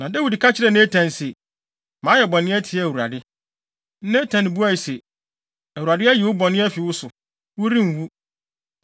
Na Dawid ka kyerɛɛ Natan se, “Mayɛ bɔne atia Awurade.” Natan buae se, “ Awurade ayi wo bɔne no afi wo so. Worenwu.